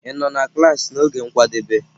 Ị nọ na klaasị n'oge nkwadebe?